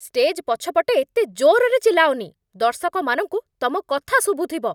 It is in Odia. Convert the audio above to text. ଷ୍ଟେଜ୍ ପଛପଟେ ଏତେ ଜୋର୍‌ରେ ଚିଲ୍ଲାଅନି । ଦର୍ଶକମାନଙ୍କୁ ତମ କଥା ଶୁଭୁଥିବ ।